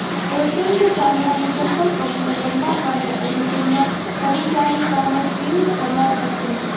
patent ચામડાની ચંપલ પગને લંબાવવાનો અને તેમના પરિચારિકાને ટ્રિમ કરવા સક્ષમ છે